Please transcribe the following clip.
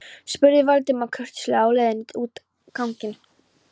spurði Valdimar kurteislega á leiðinni út ganginn.